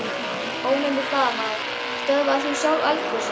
Ónefndur blaðamaður: Stöðvaðir þú sjálf eldgosið?